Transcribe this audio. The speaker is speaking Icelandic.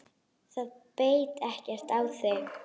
Það beit ekkert á þig.